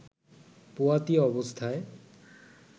পোয়াতি অবস্থায়